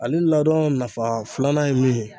Ale ladɔn nafa filanan ye mun ye